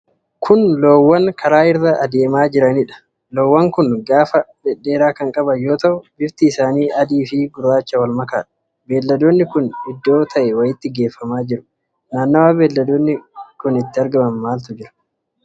Kun loowwan karaa irra adeemaa jiranidha. Loowwan kun gaafa dhedheeraa kan qaban yoo ta'u, bifti isaanii adii fi gurraacha wal makaadha. Beelladoonni kuni iddoo ta'e wayiitti geeffamaa jiru. Naannawa beelladoota kanaa maaltu jira?